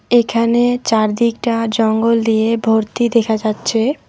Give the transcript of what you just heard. এখানে চারদিকটা জঙ্গল দিয়ে ভর্তি দেখা যাচ্ছে।